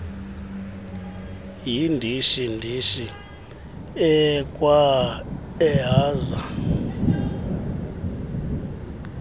yindishi ndishi akwaaehaza